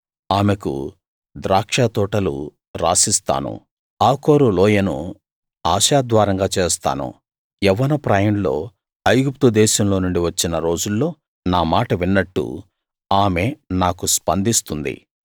ఆమెకు ద్రాక్షతోటలు రాసిస్తాను ఆకోరు లోయను ఆశాద్వారంగా చేస్తాను యవ్వనప్రాయంలో ఐగుప్తు దేశంలోనుండి వచ్చిన రోజుల్లో నా మాట విన్నట్టు ఆమె నాకు స్పందిస్తుంది